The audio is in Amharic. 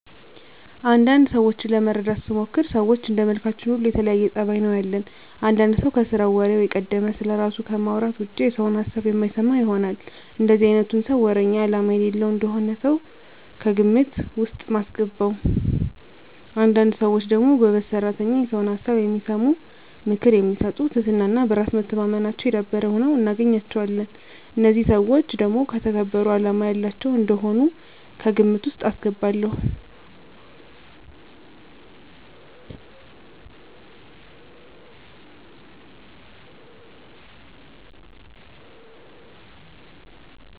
አንዳንድ ሰዎችን ለመረዳት ስሞክር ሰዎች እንደመልካችን ሁሉ የተለያየ ፀባይ ነው ያለን። አንዳንድ ሰው ከስራው ወሬው የቀደመ፣ ስለራሱ ከማውራት ውጭ የሰውን ሀሳብ የማይሰማ ይሆናል። እንደዚህ አይነቱን ሰው ወረኛ አላማ የሌለው እንደሆነ ነው ከግምት ውስጥ ማስገባው። አንዳንድ ሰዎች ደግሞ ጎበዝ ሰራተኛ፣ የሰውን ሀሳብ የሚሰሙ፣ ምክር የሚሰጡ ትህትና እና በራስ መተማመናቸው የዳበረ ሁነው እናገኛቸዋለን። እነዚህን ሰዎች ደግሞ የተከበሩ አላማ ያላቸው እንደሆኑ ከግምት ውስጥ አስገባለሁ።